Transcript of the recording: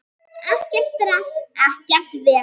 Ekkert stress, ekkert vesen.